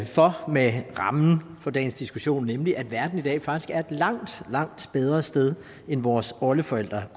for med rammen for dagens diskussion nemlig at verden i dag faktisk er et langt langt bedre sted end vores oldeforældre